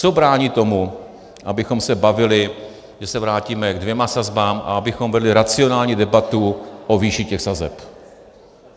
Co brání tomu, abychom se bavili, že se vrátíme ke dvěma sazbám a abychom vedli racionální debatu o výši těch sazeb?